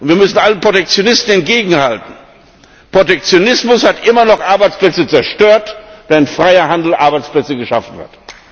Wir müssen allen Protektionisten entgegenhalten Protektionismus hat immer noch Arbeitsplätze zerstört, während freier Handel Arbeitsplätze geschaffen hat.